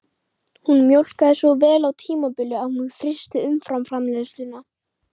Hún mjólkaði svo vel á tímabili að hún frysti umfram-framleiðsluna